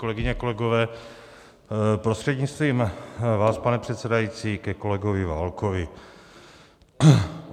Kolegyně, kolegové, prostřednictvím vás, pane předsedající, ke kolegovi Válkovi.